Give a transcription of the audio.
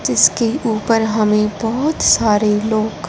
जिसके ऊपर हमें बहुत सारे लोग--